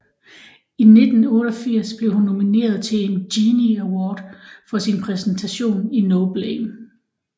I 1988 blev hun nomineret til en Genie Award for sin præstation i No Blame